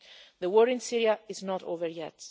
The war in Syria is not over yet.